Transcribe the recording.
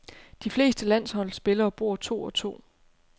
De fleste landsholdsspillere bor to og to.